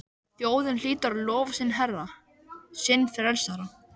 Þjóðin hlýtur að lofa sinn herra, sinn frelsara!